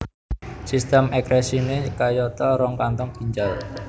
Sistem ekskresiné kayata rong kantong ginjal